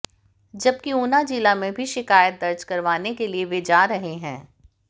जबकि ऊना जिला में भी शिकायत दर्ज करवाने के लिए वे जा रहे हैं